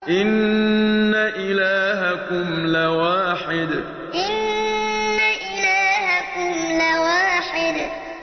إِنَّ إِلَٰهَكُمْ لَوَاحِدٌ إِنَّ إِلَٰهَكُمْ لَوَاحِدٌ